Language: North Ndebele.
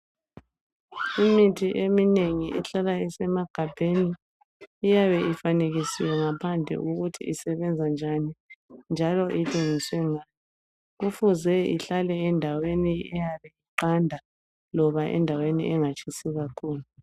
Imithi eminengi ehlala isemagabheni iyabe ifanekisiwe ngaphandle ukuthi isebenza njani . Njalo isebenziswe nga .Kufuze ihlale endaweni eyabe iqanda loba endaweni eyabe ingatshisi kakhulu .